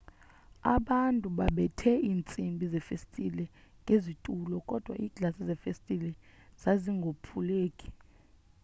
abantu babebethe intsimbi zefestile ngezitulo kodwa iglasi yefestile zazingophuleki